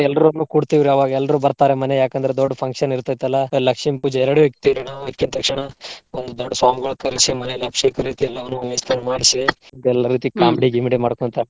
ಎಲ್ರೂ ಕೂಡ್ತಿವ್ರಿ ಅವಾಗ ಎಲ್ರೂ ಬರ್ತಾರ ಮನೆಗ ಯಾಕ ಅಂದ್ರ ದೊಡ್ಡ function ಇರ್ತೆತಲ್ಲಾ. ಲಕ್ಷ್ಮೀ ಪೂಜೆ ಎರ್ಡು ಇಕ್ಕತೇವ್ರಿ ನಾವ್ ಇಕ್ಕಿದ ತಕ್ಷಣಾ ಒಂದ್ ದೊಡ್ಡ ಕರ್ಸಿ ಮನೆಯಲ್ಲಿ ಅಭಿಷೇಕ ರೀತಿ ಎಲ್ಲವನ್ನು ಮಾಡ್ಸಿ ಎಲ್ಲರ ಜೊತಿ comedy ಗಿಮಿಡಿ ಮಾಡ್ಕೊಂತ.